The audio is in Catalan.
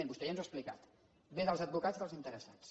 vostè ja ens ho ha explicat ve dels advocats dels interessats